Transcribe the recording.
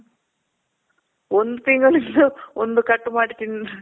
ಒಂದ್ ತಿಂಗಳ್ ಒಂದ್ ಕಟ್ ಮಾಡಿ ತಿಂದ್ವಿ.